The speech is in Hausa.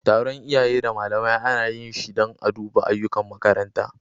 Taron iyaye da malamai ana yi shi dan a duba ayyukan makaranta.